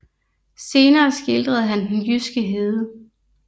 Senere skildrede han den jyske hede